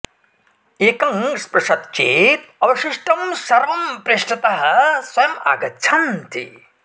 एकं स्पृशति चेत् अवशिष्टं सर्वं पृष्ठतः स्वयम् आगच्छन्ति